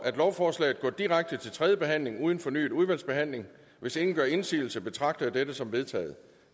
lovforslaget går direkte til tredje behandling uden fornyet udvalgsbehandling hvis ingen gør indsigelse betragter jeg dette som vedtaget